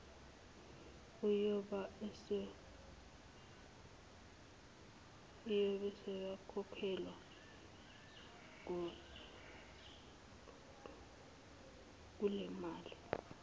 uyobe esekhokhelwa kulemali